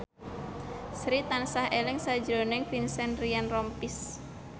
Sri tansah eling sakjroning Vincent Ryan Rompies